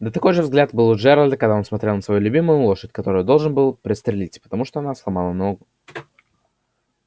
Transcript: да такой же взгляд был у джералда когда он смотрел на свою любимую лошадь которую должен был пристрелить потому что она сломала ногу